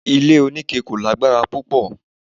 Ilé onike kò lágbára púpọ̀